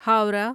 Howrah